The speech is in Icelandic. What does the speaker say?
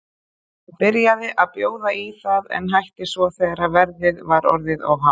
Hann byrjaði að bjóða í það en hætti svo þegar verðið var orðið of hátt.